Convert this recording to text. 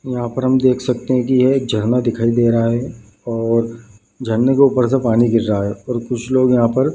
और यहाँ पर हम देख सकते हैं की यह एक झरना दिखाई दे रहा है और झरने के ऊपर से पानी गिर रहा है और कुछ लोग यहाँ पर --